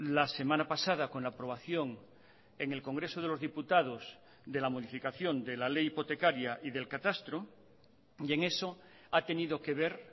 la semana pasada con la aprobación en el congreso de los diputados de la modificación de la ley hipotecaria y del catastro y en eso ha tenido que ver